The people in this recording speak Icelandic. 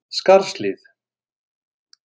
Skarðshlíð